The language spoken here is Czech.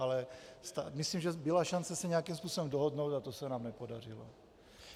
Ale myslím, že byla šance se nějakým způsobem dohodnout, a to se nám nepodařilo.